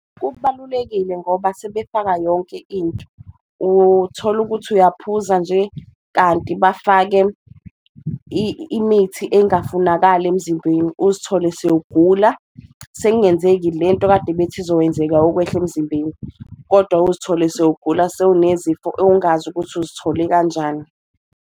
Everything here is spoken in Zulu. Kubalulekile ngoba sebefaka yonke into. Uthola ukuthi uyaphuza nje, kanti bafake imithi engafunakali emzimbeni uzithole sewugula sekungenzeki lento akade bethi izokwenzeka, ukwehla emzimbeni. Kodwa uzithole sewugula sewunesifo ongazi ukuthi uzithole kanjani.